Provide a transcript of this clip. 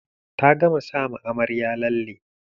Ta gama sa ma amaryar lalle.